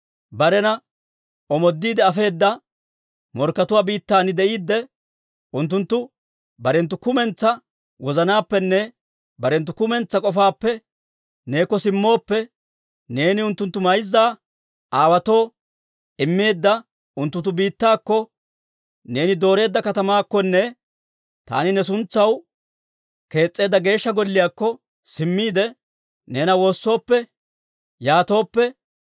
barena omoodiide afeedda morkkatuwaa biittan de'iidde, unttunttu barenttu kumentsaa wozanaappenne barenttu kumentsaa k'ofaappe neekko simmooppe, neeni unttunttu mayza aawaatoo immeedda unttunttu biittaakko, neeni dooreedda katamaakkonne taani ne suntsaw kees's'eedda Geeshsha Golliyaakko simmiide, neena woossooppe, yaatooppe,